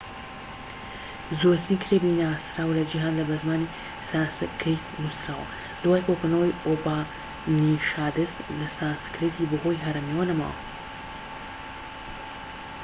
زووترین کتێبی ناسراو لە جیهاندا بە زمانی سانسکریت نووسراوە دوای کۆکردنەوەی ئوپانیشادس سانسکریتی بەهۆی هەرەمییەوە نەما